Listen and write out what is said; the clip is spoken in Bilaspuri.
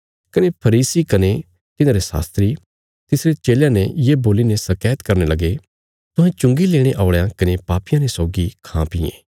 कने फरीसी कने तिन्हांरे शास्त्री तिसरे चेलयां ने ये बोलीने शकैत करने लगे तुहें चुंगी लेणे औल़यां कने पापियां ने सौगी खांपीयें